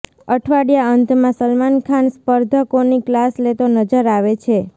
અઠવાડિયા અંતમાં સલમાન ખાન સ્પર્ધકોની ક્લાસ લેતો નજર આવે છે